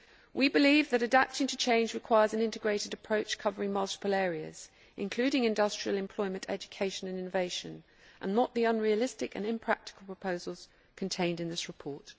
We believe that adapting to change requires an integrated approach covering multiple areas, including industrial employment, education and innovation and not the unrealistic and impractical proposals contained in this report.